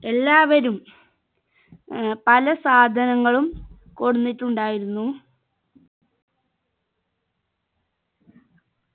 എല്ലാവരും ഏർ പല സാധനങ്ങളും കൊണ്ടന്നിട്ടുണ്ടായിരുന്നു